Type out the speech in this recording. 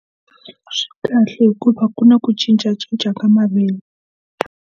Swi kahle hikuva ku na ku cincacinca ka .